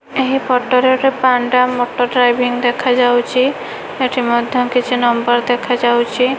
ଏହି ଫଟ ରେ ଗୋଟେ ପାଣ୍ଡା ମଟର ଡ୍ରାଇଭିଙ୍ଗ୍ ଦେଖାଯାଉଛି। ଏଠି ମଧ୍ୟ କିଛି ନମ୍ବର୍ ଦେଖାଯାଉଛି।